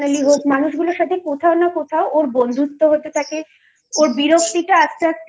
মানুষগুলোর সাথে কোথাও না কোথাও বন্ধুত্ব হতে থাকে ওর বিরক্তি টা আস্তে আস্তে